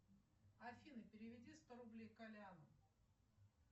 афина переведи сто рублей коляну